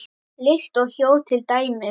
Lykt og hljóð til dæmis.